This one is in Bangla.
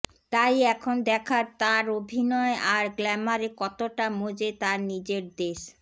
তাই এখন দেখার তাঁর অভিনয আর গ্ল্যামারে কতটা মজে তাঁর নিজের দেশ